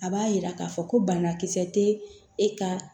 A b'a yira k'a fɔ ko banakisɛ tɛ e ka